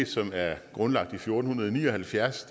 som er grundlagt i fjorten ni og halvfjerds